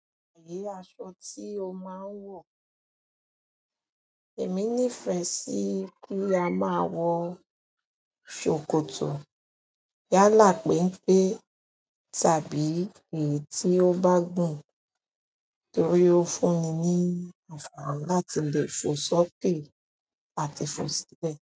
Iru aṣọ tí o máa ń wọ̀, èmi nífẹ̀ẹ́ sí kí a máa wọ sòkòtò yálà pẹ́npẹ́ tàbí èyí tí ó bá gùn torí ó fún mi ní àǹfààní láti lè fọ sókè àti fọ silẹ.